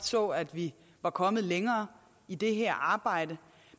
så at vi var kommet længere i det her arbejde